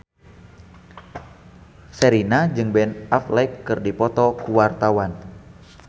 Sherina jeung Ben Affleck keur dipoto ku wartawan